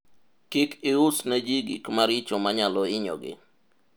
kik ius neji gik maricho manyalo hinyogi